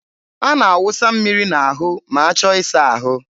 a na-awụsa mmiri n'ahụ ma achọ ịsa ahụ.